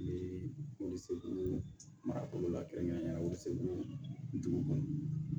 Ni wiliseko mara yɔrɔ la kɛrɛnkɛrɛnnenyala segu dugu kɔnɔ